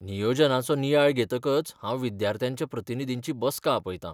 नियोजनाचो नियाळ घेतकच हांव विद्यार्थ्यांच्या प्रतिनिधींची बसका आपयतां.